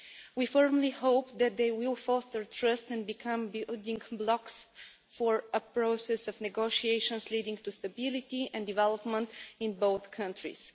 We firmly hope that they will foster trust and become building blocks for a process of negotiations leading to stability and development in both countries.